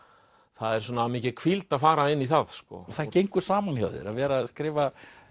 það er mikil hvíld að fara inn í það og það gengur saman hjá þér að vera að skrifa